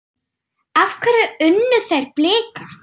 Af hverju unnu þeir Blika?